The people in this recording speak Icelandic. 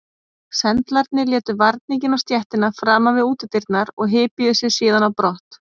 Sendlarnir létu varninginn á stéttina framan við útidyrnar og hypjuðu sig síðan á brott.